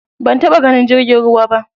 Ban taɓa ganin jirgin ruwa ba.